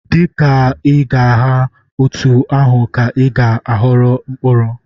Dị ka ị na-agha, otú ahụ ka ị ga-aghọrọ mkpụrụ.